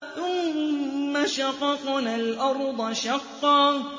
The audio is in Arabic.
ثُمَّ شَقَقْنَا الْأَرْضَ شَقًّا